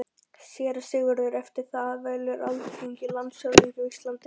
SÉRA SIGURÐUR: Eftir það velur Alþingi landshöfðingja á Íslandi.